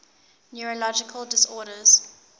neurological disorders